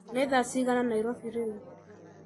nĩ thaa cigana Nairobi rĩu